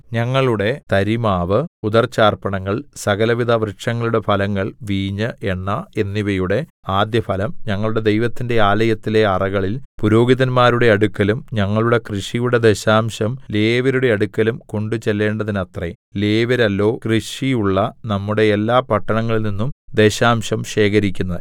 ഞങ്ങളുടെ തരിമാവ് ഉദർച്ചാർപ്പണങ്ങൾ സകലവിധവൃക്ഷങ്ങളുടെ ഫലങ്ങൾ വീഞ്ഞ് എണ്ണ എന്നിവയുടെ ആദ്യഫലം ഞങ്ങളുടെ ദൈവത്തിന്റെ ആലയത്തിലെ അറകളിൽ പുരോഹിതന്മാരുടെ അടുക്കലും ഞങ്ങളുടെ കൃഷിയുടെ ദശാംശം ലേവ്യരുടെ അടുക്കലും കൊണ്ടുചെല്ലേണ്ടതിനത്രേ ലേവ്യരല്ലോ കൃഷിയുള്ള നമ്മുടെ എല്ലാ പട്ടണങ്ങളിൽനിന്നും ദശാംശം ശേഖരിക്കുന്നത്